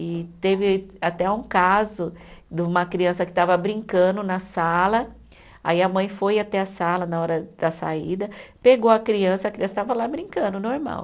E teve até um caso de uma criança que estava brincando na sala, aí a mãe foi até a sala na hora da saída, pegou a criança, a criança estava lá brincando, normal.